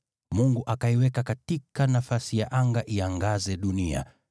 Mungu akaiweka katika nafasi ya anga iangaze dunia,